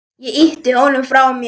Ég ýtti honum frá mér.